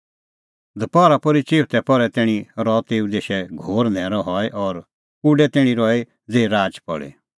दपहरा पोर्ही चिऊथै पहरै तैणीं रहअ तेऊ देशै घोर न्हैरअ हई और उडै तैणीं रही ज़ेही राच पल़ी